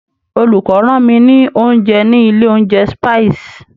Olùkó rán mi ní oúnjẹ ní ilé oúnjẹ Spices.